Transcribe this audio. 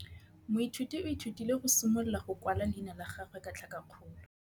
Moithuti o ithutile go simolola go kwala leina la gagwe ka tlhakakgolo.